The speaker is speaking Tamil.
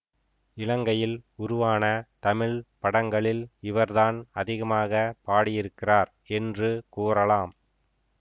இலங்கையில் உருவான தமிழ் படங்களில் இவர்தான் அதிகமாக பாடியிருக்கிறார் என்று கூறலாம்